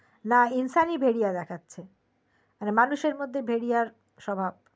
না ইনসানি ভেরিয়া দেখাচ্ছে মানে মানুষের মধ্যে ভেরিয়া স্বভাব